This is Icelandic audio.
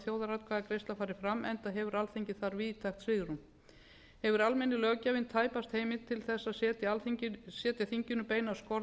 þjóðaratkvæðagreiðsla fari fram enda hefur alþingi þar víðtækt svigrúm hefur almenni löggjafinn tæpa heimild til að setja þinginu beinar skorður